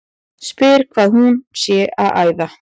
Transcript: Spyr hvað hún sé að æða.